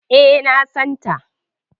E, na san ta.